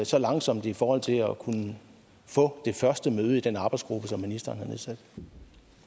så langsomt i forhold til at kunne få det første møde i den arbejdsgruppe som ministeren